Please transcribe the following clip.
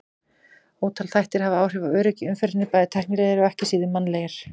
Ótal þættir hafa áhrif á öryggi í umferðinni, bæði tæknilegir og ekki síður mannlegir.